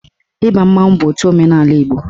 Ịba mmanwụ bụ otu omenaala Igbo